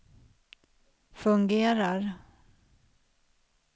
fungerar